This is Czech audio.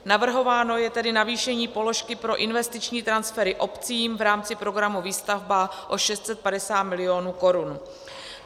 Navrhováno je tedy navýšení položky pro investiční transfery obcím v rámci programu Výstavba o 650 milionů korun.